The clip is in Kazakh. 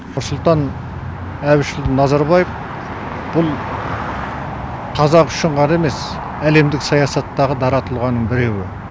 нұрсұлтан әбішұлы назарбаев бұл қазақ үшін ғана емес әлемдік саясаттағы дара тұлғаның біреуі